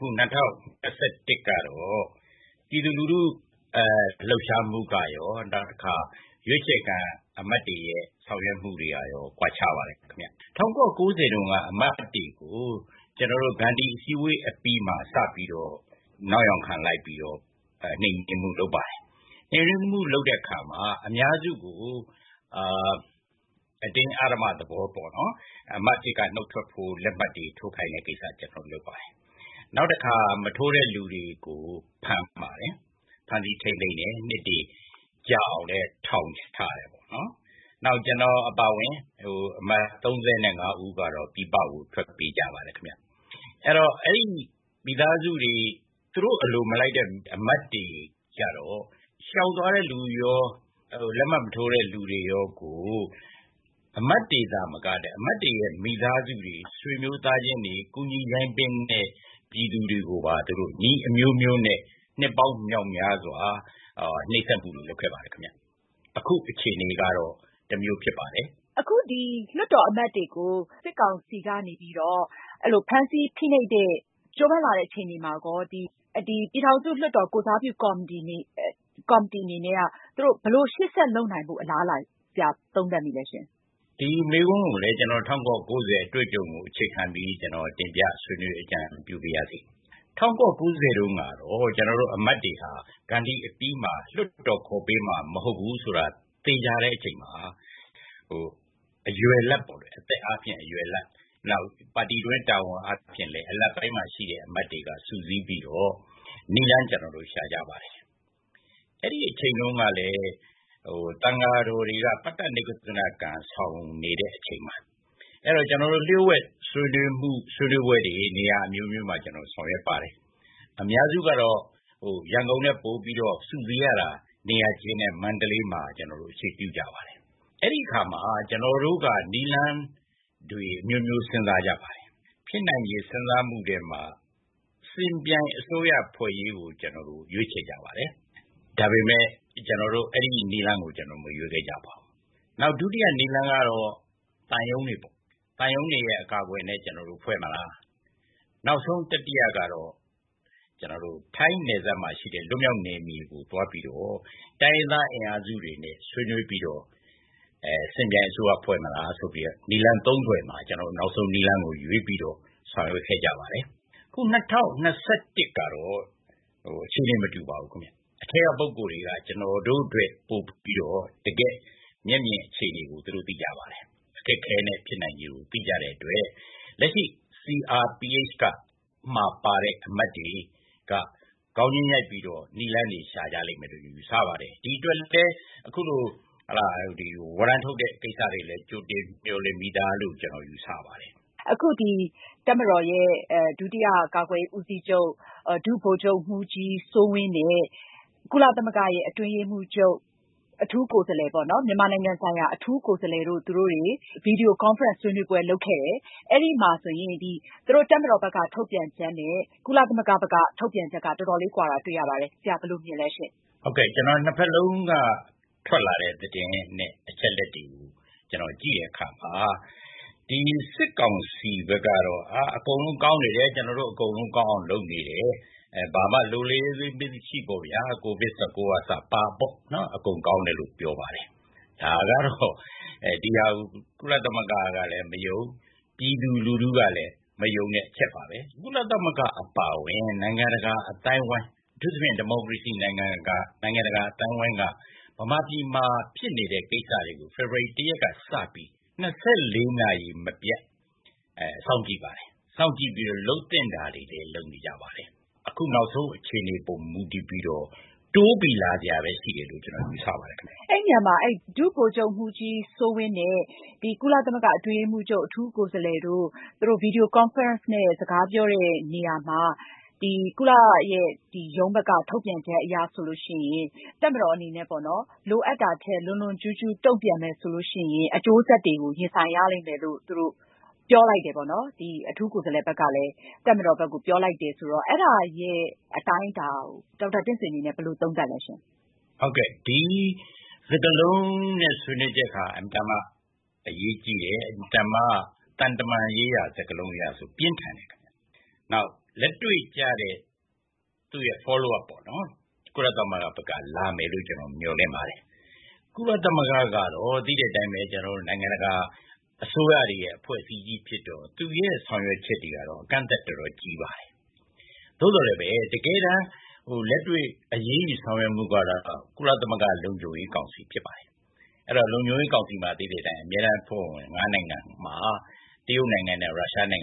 ခု ၂၀၂၁ ကတော့ ပြည်သူလူထုလှုပ်ရှားမှုကရော နောက်တခါ ရွေးချယ်ခံအမတ်တွေရဲ့ ဆောင်ရွက်မှုတွေကရော ကွာခြားပါတယ်ခင်ဗျ။ ၁၉၉၀ တုန်းက အမတ်တွေကို ကျနော်တို့ ဂန္ဓီ အစည်းအဝေးမှာ စပြီးတော့ နောက်ယောင်ခံလိုက်ပြီးတော့ နှိမ်နင်းမှု လုပ်ပါတယ်။ နှိမ်နင်းမှုလုပ်တဲ့အခါမှာ အများစုကို အတင်းအဓမ္မသဘောပေါ့နော် အမတ်အဖြစ်က နုတ်ထွက်ဖို့ လက်မှတ်တွေထိုးခိုင်းတဲ့ကိစ္စလုပ်ပါတယ်။ နောက်တခါ မထိုးတဲ့လူတွေကို ဖမ်းပါတယ်၊ ဖမ်းဆီးထိန်းသိမ်းတယ် ။ နှစ်တွေကြာအောင်လည်း ထောင်ချတယ်ပေါ့ ။ နောက်ကျနေ်ာအပါအဝင် အမတ် ၃၅ ဦးကတော့ ပြည်ပကို ထွက်ပြေးကြပါတယ်ခင်ဗျ။ အဲဒီ သူတို့အလိုမလိုက်တဲ့ အမတ်တွေကျတော့ ရှောင်သွားတဲ့လူရော လက်မှတ်မထိုးတဲ့လူရောကို အမတ်တွေသာမက အမတ်တွေရဲ့ မိသားစုတွေ၊ ဆွေမျိုးသားချင်းတွေ၊ ကူညီရိုင်းပင်းတဲ့ ပြည်သူတွေကိုပါ နည်းအမျိုးမျိုးနဲ့ နှစ်ပေါင်းမြောက်များစွာ နှိတ်စက်မှုတွေ လုပ်ခဲ့ပါတယ်။ အခုအခြေအနေကတော့ တမျိုးဖြစ်ပါတယ်။ မအင်ကြင်းနိုင်။ ။ အခု လွှတ်တော်အမတ်တွေကို စစ်ကောင်စီကနေပြီးတော့ ဖမ်းဆီးဖိနှိပ်တဲ့ ကြိုးပမ်းလာတဲ့အခြေအနေမှာ ပြည်ထောင်စုလွှတ်တော် ကိုယ်စားပြု ကော်မတီအနေနဲ့ သူတို့ ဘယ်လိုရှေ့ဆက်လုပ်နိုင်ဖို့အလားအလာ ဆရာ ဘယ်လိုသုံးသပ်မိသလဲရှင့်။ ဒေါက်တာတင့်ဆွေ။ ။ဒီမေးခွန်းကိုလည်း ၁၉၉၀ အတွေ့အကြုံကို အခြေခံပြီး တင်ပြဆွေးနွေးအကြံပြု ပါရစေ။ ၁၉၉၀ တုန်းကတော့ ကျနော်တို့ အမတ်တွေဟာ ဂန္ဓီ အပြီးမှာ လွှတ်တော်ခေါ်ပေးမှာမဟုတ်ဘူးဆိုတာ သေချာတဲ့အချိန်မှာ အသက်အားဖြင့် အရွယ်လတ် ၊ နောက်ပါတီတွင်း တာဝန်အားဖြင့်လည်း အလတ်အပိုင်းမှာရှိတဲ့အမတ်တွေက စုစည်းပြီးတော့ နည်းလမ်းကျနော်တို့ ရှာကြပါတယ်။ အဲဒီအချိန်တုန်းကလည်း သံံဃာတော်တွေအနေနဲ့ ပတ္တနိကုစ္စနကံ ဆောင်နေတဲ့ အချိန်ပါ။ ကျနော်တို့ လျှိူဝှက်ဆွေးနွေးမှုတွေ နေရာအမျိုးမျိုးမှာ ဆောင်ရွက်ပါတယ်။ အများစုကတော့ ရန်ကုန်ထက် ပိုပြီးတော့ စုစည်းရတာ နေရာကျယ်တဲ့ မန္တလေးမှာ အခြေပြုပါတယ်။ အဲဒီအခါမှာ ကျနော်တို့က နည်းလမ်းတွေအမျိုးမျိုး စဉ်းစားပါတယ်။ ဖြစ်နိုင်တဲ့ စဉ်းစားမှုထဲမှာ ယှဉ်ပြိုင်အစိုးရဖွဲ့ရေးကို ရွေးချယ်ကြပါတယ်။ ဒါပေမယ့် အဲဒီနည်းလမ်းကို ကျနော်တို့ မရွေးခဲ့ကြပါဘူး။ နောက်ဒုတိယနည်းလမ်းကတော့ သံရုံးတွေပေါ့၊ သူတို့အကာအကွယ်နဲ့ ကျနော်တို့ ဖွဲ့မလား ၊ နောက်ဆုံးတတိယကတော့ ထိုင်းနယ်စပ်မှာရှိတဲ့ လွတ်မြောက်နယ်မြေကိုသွားပြီးတော့ တိုင်းရင်းသားအင်အားစုတွေနဲ့ ဆွေးနွေးပြီးတော့ ယှဉ်ပြိုင်အစိုးရဖွဲ့မလားဆိုပြီးတော့ နည်းလမ်း ၃ ခုမှာ နောက်ဆုံးနည်းလမ်းကိုရွေးပြီးတော့ ဆောင်ရွက်ခဲ့ပါတယ်။ အခု ၂၀၂၁ ကတော့ အခြေအနေမတူပါဘူးခင်ဗျ။ အထဲက ပုဂိုလ်တွေက ကျနော်တို့ထက်ပိုပြီးတော့ တကယ့်မျက်မြင်အခြေအနေကို သူတို့သိကြပါတယ်၊ အခက်အခဲနဲ့ ဖြစ်နိုင်ခြေကို သိကြတဲ့အတွက် လက်ရှိ CRPH မှာ ပါတဲ့အမတ်တွေက ခေါင်းချင်းရိုက်ပြီးတော့ နည်းလမ်းတွေရှာကြမယ်လို့ ယူဆပါတယ်။ ဒီအတွက်လည်း အခုလို ဝရမ်းထုတ်တဲ့ကိစ္စတွေကို ကြိုတင် မျှော်လင့်ပြီးသားလို့ ကျနော်ယူဆပါတယ်။ မအင်ကြင်းနိုင်။ ။ အခုတပ်မတော်ရဲ့ ဒုတိယ ကာကွယ်ရေးဦးစီးချုပ် ဒုဗိုလ်ချုပ်မှူးကြီး စိုးဝင်းနဲ့ ကုလသမဂ္ဂ အတွင်းရေးမှူးချုပ်ရဲ့ မြန်မာဆိုင်ရာ အထူးကိုယ်စားလှယ် Christine Schraner-Burgener တို့ Video conference ဆွေးနွေးပွဲလုပ်ခဲ့တယ် အဲဒီမှာဆိုရင် သူတို့ တပ်မတော်ဘက်က ထုတ်ပြန်ချက်နဲ့ ကုလသမဂ္ဂ ဘက်က ထုတ်ပြန်ချက်က တော်တော်လေး ကွာတာတွေ့ရတယ်။ ဆရာဘယ်လိုမြင်ပါသလဲရှင့်။ ဒေါက်တာတင့်ဆွေ။ ။ ဟုတ်ကဲ့ ကျနော် ၂ ဖက်လုံးက ထွက်လာတဲ့ သတင်းနဲ့ အချက်အလက်တွေကို ကျနော်ကြည့်တဲ့အခါမှာ ဒီ စစ်ကောင်စီဘက်ကတော့ အကုန်လုံးကောင်းတယ် ၊ ကျနော်တို့ အကုန်လုံးကောင်းအောင်လုပ်နေတယ် ဘာမှ လိုလေသေးမရှိပေါ့ဗျာ ၊ COVID-19 အပါအဝင်ပေါ့ အကုန်ကောင်းတယ်လို့ ပြောပါတယ်။ ဒီဟာကို ကုလသမဂ္ဂကလည်း မယုံ ၊ ပြည်သူလူထုကလည်း မယုံတဲ့အချက်ပါပါ။ ကုလသမဂ္ဂ အပါအဝင် နိုင်ငံတကာအသိုင်းအဝိုင်း အထူးသဖြင့် ဒီမိုကရေစီနိုင်ငံက နိုင်ငံတကာ အသိုင်းအဝိုင်းက မြန်မာပြည်မှာ ဖြစ်နေတဲ့ ကိစ္စတွေကို ဖေဖော်ဝါရီ ၁ ရက်က စပြီး ၂၄ နာရီ မပျက် စောင့်ကြည့်ပါတယ်။ စောင့်ကြည့်ပြီးတော့ လုပ်သင့်တာတွေလည်း လုပ်နေပါတယ်။ အခုနောက်ဆုံး အခြေအနေအပေါ် မူတည်ပြီးတော့ တိုးပြီးတော့ လာစရာရှိတယ်လို့ ကျနေ်ာယူဆပါတယ်။ အင်ကြင်းနိုင် ။ ။ ဒီနေရာမှာ ဒုဗိုလ်ချုပ်မှူးကြီး စိုးဝင်းနဲ့ ကုလသမဂ္ဂအတွင်းရေးမှူးချုပ် အထူးကိုယ်စားလှယ်တို့ ဗွီဒီယိုကွန်ဖရင့်နဲ့ စကားပြောတဲ့နေရာမှာ ကုလသမဂ္ဂရဲ့ ထုတ်ပြန်ချက်အရဆိုရင် တပ်မတော်အနေနဲ့ လွန်လွန်ကျူးကျူးတုန့်ပြန်မယ်ဆိုရင် ဆိုးရွားတဲ့ အကျိုးဆက်တွေရှိလာလိမ့်မယ်လို့ အထူးကိုယ်စားလှယ်က တပ်မတော်ဘက်ကို ပြောကြားခဲ့တယ်လို့ဖေါ်ပြထားပါတယ်။ ဒေါက်တာတင့်ဆွေအနေနဲ့ ဘယ်လိုသုံးသပ်လဲရှင့်။ ဒေါက်တာတင့်ဆွေ။ ။ ဒီစကားလုံးနဲ့ ဆွေးနွေးချက်ဟာ အင်မတန်မှ အရေးကြီးတယ်။ သံတမန်ရေးရာစကားလုံးအရဆိုရင် ပြင်းထန်တဲ့ခင်ဗျ။ နောက်လက်တွေ့ကျတဲ့ သူ့ရဲ့ follow up ပေါ့။ ကုလသမဂ္ဂဘက်က လာမယ်လို့ မျှော်လင့်ပါတယ်။ ကုလသမဂ္ဂကတော့ သိတဲ့အတိုင်းပဲ။ နိုင်ငံတကာ အစိုးရတွေရဲ့ အဖွဲ့အစည်းကြီးဖြစ်တော့ သူ့ရဲ့ ဆောင်ရွက်ချက်တွေဟာ ကန့်သတ်ချက် တော်တော်ကြီးပါတယ်။ သို့သော် တကယ်တမ်းလက်တွေ့အရေးယူဆောင်ရွက်မှုကတော့ ကုလသမဂ္ဂလုံခြုံရေးကောင်စီဖြစ်ပါတယ်။ အဲတော့ လုံခြုံရေးကောင်စီမှာ သိတဲ့အတိုင်း အမြဲတမ်းအဖွဲ့ဝင် ငါးနိုင်ငံမှာ တရုတ်နဲ့ ရုရှားက